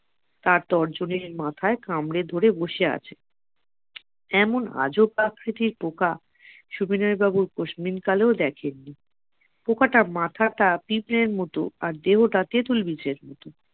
তার তর্জনীর মাথায় কামড়ে ধরে বসে আছে এমন আজব আকৃতির পোকা সুবিনয় বাবু কোশমিন কালেও দেখেননি পোকাটার মাথাটা পিঁপড়ের মতো আর দেহটা তেতুল বিচের মত।